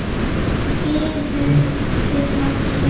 Biðuð þið nokkurn tíma?